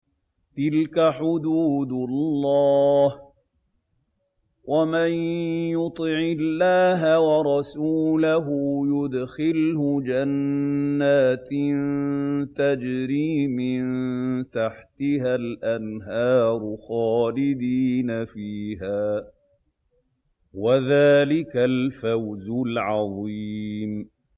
تِلْكَ حُدُودُ اللَّهِ ۚ وَمَن يُطِعِ اللَّهَ وَرَسُولَهُ يُدْخِلْهُ جَنَّاتٍ تَجْرِي مِن تَحْتِهَا الْأَنْهَارُ خَالِدِينَ فِيهَا ۚ وَذَٰلِكَ الْفَوْزُ الْعَظِيمُ